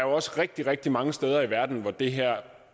også rigtigt rigtig mange steder i verden hvor det her